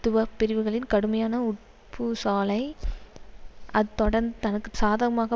துவப் பிரிவுகளின் கடுமையான உட்பூ சாலை அது தொடந்து தனக்கு சாதகமாக